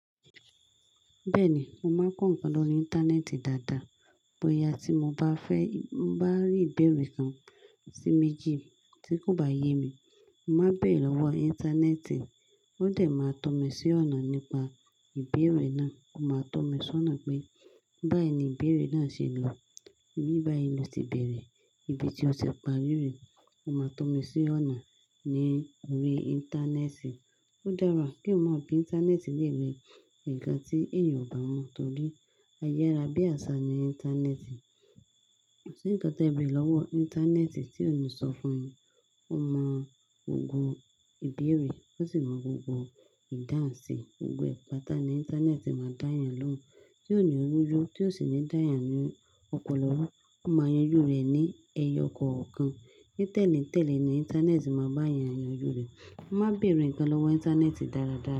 Bẹ́ẹ̀ni, mo máa ń kọ́ ǹkan lórí íńtánẹ́ẹ̀tì dáadáa. Bóyá tí mo bá fẹ́, bá rí ìbéèrè kan sí mi jí tí kò bá yé mi, mo máa béèrè lọ́wọ́ íńtánẹ́ẹ̀tì, ó dà máa tó mi sí ọ̀nà nípa ìbéèrè náà. Ó ma tọ́ mi sọ́nà pé báyì ni ìbéèrè ná ṣe lọ, ibi báyì lótì bẹ̀rẹ̀, ibi tí ótì parí rẹ̀, óma tọ́mi sọ́nà lórí íntaaneti. Ó dára kí o má bi íńtánẹ́ẹ̀tì lẹ́wẹ̀ ǹkan tí èèyàn kò mọ̀ torí ayé ara bí àṣà ni íńtánẹ́ẹ̀tì. Kò sí nǹkan tí e béèrè lọ́wọ́ íńtánẹ́ẹ̀tì tí òní sọ fún ẹ, ó mọ gbogbo ìbéèrè, ó sì mọ gbogbo ìdáhùn sí ohun gbogbo. Ìpàtà ní íńtánẹ́ẹ̀tì máa dá yàn lóun. Tí òní rúnju, tí òní dáyàn lóun, ọ̀pọ̀lọpọ̀ ru ó máa yanjú rẹ̀ ní ẹyọ kọ̀ọ̀kan. Ní tèléǹtélé ni íńtánẹ́ẹ̀tì máa bá yàn yanjú rẹ̀. Má béèrè ǹkan lọ́wọ́ íńtánẹ́ẹ̀tì dáradára.